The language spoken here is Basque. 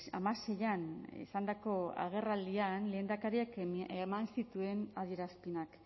hamaseian izandako agerraldian lehendakariak eman zituen adierazpenak